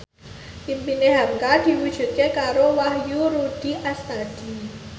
impine hamka diwujudke karo Wahyu Rudi Astadi